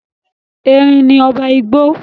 Erin ni ọba igbó.